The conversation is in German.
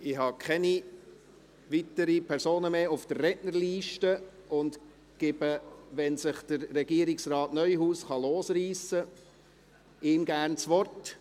Ich habe keine weiteren Personen mehr auf der Rednerliste und gebe Regierungsrat Neuhaus, wenn er sich losreissen kann, gerne das Wort.